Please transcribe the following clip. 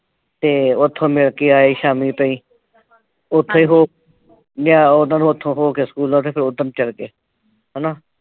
ਤੇ ਉਥੋਂ ਮਿਲ ਕੇ ਆਏ ਸ਼ਾਮੀ ਤਾਈਂ ਉਥੋਂ ਉਹ ਲਿਆਏ ਉਨ੍ਹਾਂ ਨੂੰ ਉਥੋਂ ਹੋ ਕੇ ਸਕੂਲੋਂ ਫਿਰ ਓਧਰ ਨੂੰ ਚਲੇ ਗਏ।